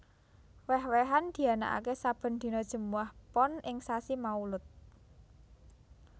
Wéh wéhan dianakaké sabèn dina Jèmuwah Pon ing sasi Maulud